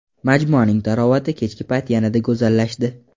Majmuaning tarovati kechki payt yanada go‘zallashdi.